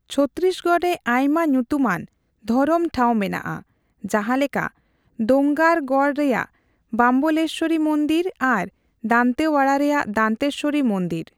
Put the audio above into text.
ᱪᱷᱚᱛᱛᱤᱥᱜᱚᱲ ᱨᱮ ᱟᱭᱢᱟ ᱧᱩᱛᱩᱢᱟᱱ ᱫᱷᱚᱨᱚᱢ ᱴᱷᱟᱣ ᱢᱮᱱᱟᱜᱼᱟ, ᱡᱟᱦᱟᱸ ᱞᱮᱠᱟ ᱫᱳᱝᱜᱟᱨᱜᱚᱲ ᱨᱮᱭᱟᱜ ᱵᱟᱢᱵᱚᱞᱮᱥᱣᱚᱨᱤ ᱢᱚᱱᱫᱤᱨ ᱟᱨ ᱫᱟᱱᱛᱮᱣᱟᱲᱟ ᱨᱮᱭᱟᱜ ᱫᱟᱱᱛᱮᱥᱣᱚᱨᱤ ᱢᱚᱱᱫᱤᱨ ᱾